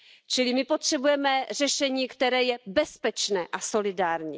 Čili my potřebujeme řešení, které je bezpečné a solidární.